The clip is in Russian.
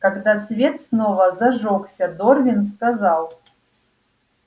когда свет снова зажёгся дорвин сказал